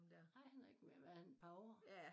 Ej han er ikke mere end hvad er han et par år